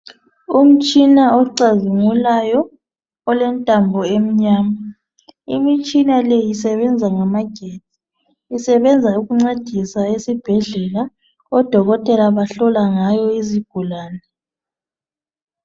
Umtshina ocazimulayo olentambo emnyama. Imitshina le isebenza ngamagetsi isebenza ukuncedisa esibhedlela, odokotela bahlola ngayo izigulani.